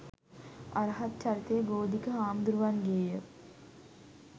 අරහත් චරිතය ගෝධික හාමුදුරුවන්ගේය.